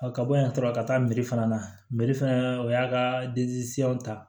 A ka bɔ yan tɔ ka taa fana na fana o y'a ka ta